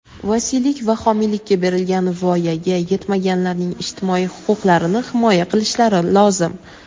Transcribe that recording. vasiylik va homiylikka berilgan voyaga yetmaganlarning ijtimoiy huquqlarini himoya qilishlari lozim.